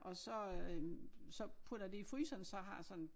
Og så øh så putter jeg det i fryseren så jeg har sådan